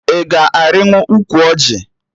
Ị ga-arịnwu ụkwụ ọjị?